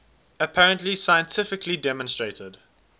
apparently scientifically demonstrated